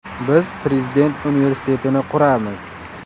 Biz Prezident universitetini quramiz.